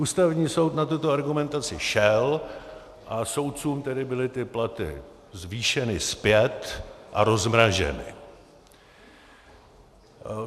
Ústavní soud na tuto argumentaci šel a soudcům tedy byly ty platy zvýšeny zpět a rozmraženy.